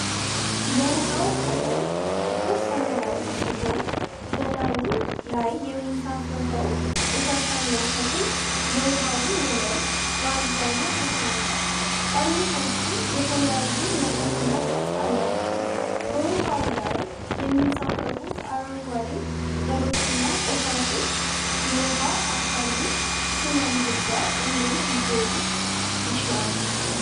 የውሃው ቀለም ጥቁር ሰማያዊ ሲሆን፣ በላዩ ላይ የሚንሳፈፈው ቆሻሻና ተክል የውሃውን ወለል በአብዛኛው ሸፍኖታል። ጠርሙሶቹ የተለያዩ መጠንና ቅርፅ አላቸው። በውሃ ላይ የሚንሳፈፉት አረንጓዴ ቅጠሎችና ቆሻሻዎች የውሃ አካሉን ሥነ-ምህዳር እንዴት ሊጎዱ ይችላሉ?